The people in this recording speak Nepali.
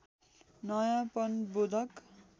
नयाँपन बोधक